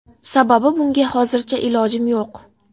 Sababi, bunga hozircha ilojim yo‘q.